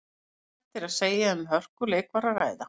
Óhætt er að segja að um hörkuleik var um að ræða.